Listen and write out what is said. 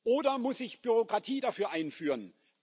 Oder muss ich Bürokratie dafür einführen?